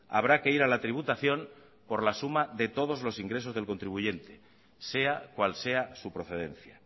habrá que ir a la tributación por la suma de todos los ingresos del contribuyente sea cual sea su procedencia